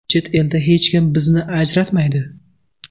Chet elda, hech kim bizni ajratmaydi.